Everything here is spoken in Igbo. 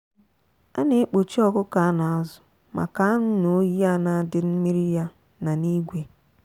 a na ekpochi ọkụkọ ana azụ maka anu n'oyi ana dị mmiri ya na n'igwe.